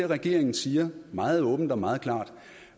regeringen siger meget åbent og meget klart